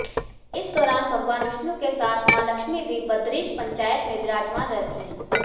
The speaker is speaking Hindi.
इस दौरान भगवान विष्णु के साथ मां लक्ष्मी भी बदरीश पंचायत में विराजमान रहती है